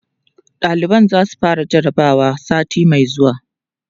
ɗaliban zasu fara jarabawa sati Mai zuwa